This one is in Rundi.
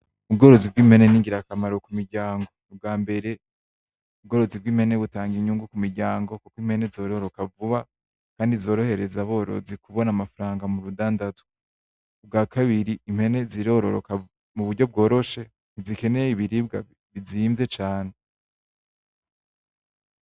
Ubworozi bw'impene ni ngira kamaro ku miryango ubwa mbere ubworozi bw'impene butanga inyungu kumuryango kuko impene zororoka vuba kandi zorohereza aborozi kubona amafaranga mu rudandazwa ubwa kabiri imbene zirororoka mu buryo bworoshe ntizikeneye ibiribwa bizimvye cane.